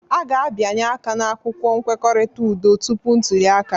A ga-abịanye aka n'akwụkwọ nkwekọrịta udo tupu ntuli aka